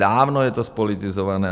Dávno je to zpolitizované.